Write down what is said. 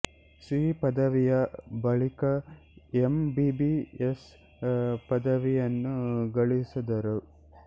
C ಪದವಿಯ ಬಳಿಕ M B B S ಪದವಿಯನ್ನು ಗಳಿಸಿದರು